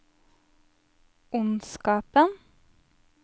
ondskapen